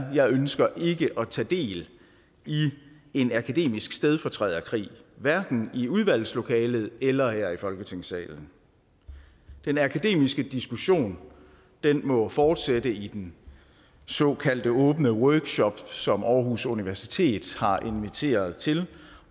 er jeg ønsker ikke at tage del i en akademisk stedfortræderkrig hverken i udvalgslokalet eller her i folketingssalen den akademiske diskussion må fortsætte i den såkaldte åbne workshop som aarhus universitet har inviteret til